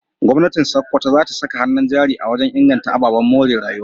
Gwamnatin Sokoto za ta saka hannun jari wajen inganta ababen more rayuwa.